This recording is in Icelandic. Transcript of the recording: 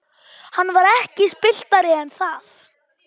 Hann var ekki spilltari en það.